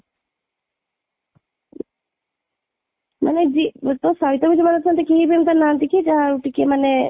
ମାନେ ଯିଏ ତୋ ସହିତ ଯୋଉମାନେ ଅଛନ୍ତି କି କେହି ବି ଏମିତି ନାହାନ୍ତି କି ଯାହା ଟିକେ ମାନେ